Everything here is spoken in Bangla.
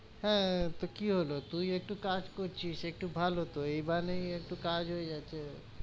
হ্যাঁ, তো কি হলো তুই একটু কাজ করছিস, একটু ভালো তো, এই বাহানে একটু কাজ হয়ে যাচ্ছে,